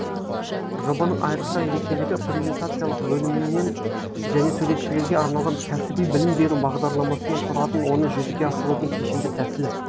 жобаның айрықша ерекшелігі презентациялық бөлімнен және суретшілерге арналған кәсіби білім беру бағдарламасынан тұратын оны жүзеге асырудың кешенді тәсілі